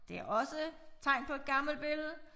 Det også tegn på et gammelt billede